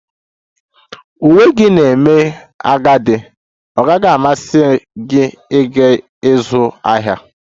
Uwe gị na-eme agadi, ọ gaghị amasị gị ịga ịzụ ahịa?